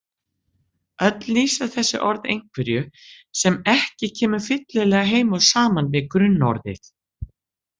Öll lýsa þessi orð einhverju sem ekki kemur fyllilega heim og saman við grunnorðið.